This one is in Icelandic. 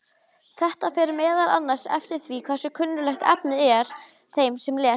Þetta fer meðal annars eftir því hversu kunnuglegt efnið er þeim sem les.